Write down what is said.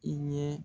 I ɲɛ